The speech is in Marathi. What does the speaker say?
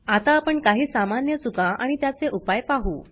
आता आपण काही सामान्य चुका आणि त्याचे उपाय पाहु